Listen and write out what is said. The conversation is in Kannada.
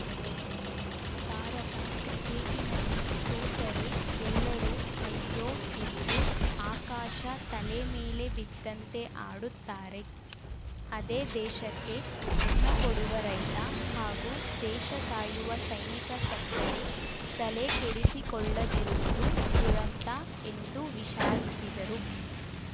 ಭಾರತ ಕ್ರಿಕೇಟಿನಲ್ಲಿ ಸೋತರೆ ಎಲ್ಲರೂ ಅಯ್ಯೊ ಎಂದು ಆಕಾಶ ತಲೆ ಮೇಲೆ ಬಿದ್ದಂತೆ ಆಡುತ್ತಾರೆ ಅದೇ ದೇಶಕ್ಕೆ ಅನ್ನಕೊಡುವ ರೈತ ಹಾಗೂ ದೇಶ ಕಾಯುವ ಸೈನಿಕ ಸತ್ತರೆ ತಲೆಕೆಡಿಸಿಕೊಳ್ಳದಿರುವುದು ದುರಂತ ಎಂದು ವಿಷಾದಿಸಿದರು